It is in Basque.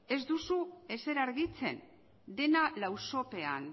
ez duzu ezer argitzen dena lausopean